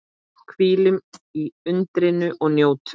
Hvílum í undrinu og njótum.